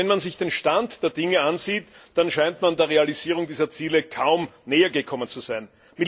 Aber wenn man sich den Stand der Dinge ansieht, dann scheint man der Realisierung dieser Ziele kaum nähergekommen zu sein.